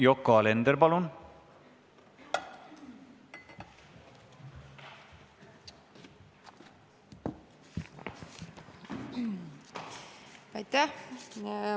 Yoko Alender, palun!